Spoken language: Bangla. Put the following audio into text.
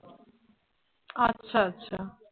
আচ্ছা আচ্ছা